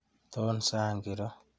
Toon sang kiro.